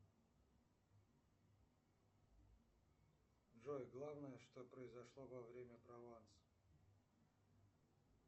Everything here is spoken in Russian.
джой главное что произошло во время прованса